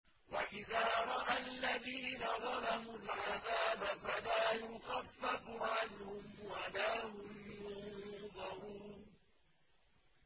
وَإِذَا رَأَى الَّذِينَ ظَلَمُوا الْعَذَابَ فَلَا يُخَفَّفُ عَنْهُمْ وَلَا هُمْ يُنظَرُونَ